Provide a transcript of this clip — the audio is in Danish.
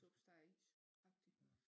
Suppe steg og is agtigt